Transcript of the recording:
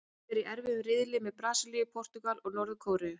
Liðið er í erfiðum riðli með Brasilíu, Portúgal og Norður-Kóreu.